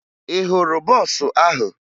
Ị hụrụ bọọsụ ahụ?